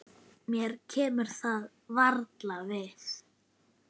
Mér kemur það varla við.